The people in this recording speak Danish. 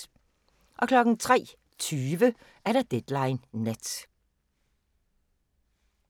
03:20: Deadline Nat